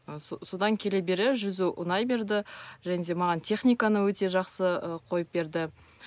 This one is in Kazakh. ы содан келе бере жүзу ұнай берді және де маған техниканы өте жақсы ы қойып берді